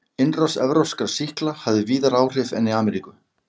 Innrás evrópskra sýkla hafði víðar áhrif en í Ameríku.